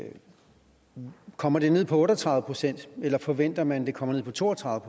kommer ned på otte og tredive procent eller forventer man det kommer ned på to og tredive